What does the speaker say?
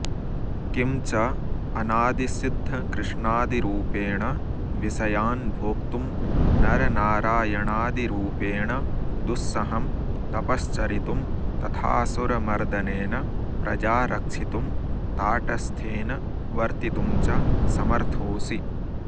किं च अनादिसिद्धकृष्णादिरूपेण विषयान्भोक्तुं नरनारायणादिरूपेण दुस्सहं तपश्चरितुं तथाऽसुरमर्दनेन प्रजा रक्षितुं ताटस्थ्येन वर्तितुं च समर्थोऽसि